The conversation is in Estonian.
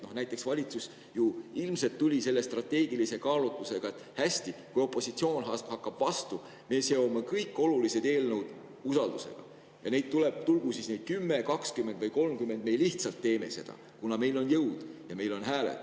Näiteks tuli valitsus ju ilmselt selle strateegilise kaalutlusega, et hästi, kui opositsioon hakkab vastu, siis me seome kõik olulised eelnõud usaldus, tulgu neid 10, 20 või 30, me lihtsalt teeme seda, kuna meil on jõud ja meil on hääled.